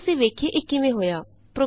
ਆਉ ਅਸੀਂ ਵੇਖੀਏ ਇਹ ਕਿਵੇਂ ਹੋਇਆ